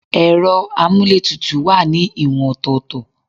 Ero amuletutu wá ní ìwọ̀n ọ̀tọ̀ọ̀tọ̀